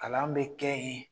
Kalan be kɛ yen